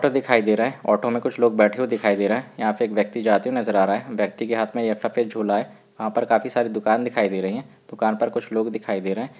Otto दिखाई दे रहा है ओटो में कुछ लोग बेठे हुए दिखाई दे रहे है यहाँ पे एक व्यक्ति जाते हुए नज़र आ रहा है व्यक्ति के हाथ में ये सफ़ेद झोला है वहा पर काफी सारी दुकान दिखाई दे रही है दुकान पर कुछ लोग दिखाई दे रहै है।